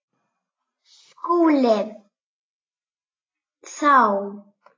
SKÚLI: Þá?